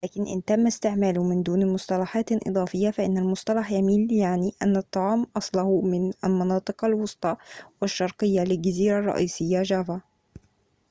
لكن إن تم استعماله من دون مصطلحات إضافية فإن المصطلح يميل ليعني أن الطعام أصله من المناطق الوسطى والشرقية للجزيرة الرئيسية جافا